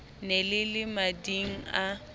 ne le le mading a